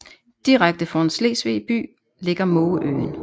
Direkte foran Slesvig by ligger Mågeøen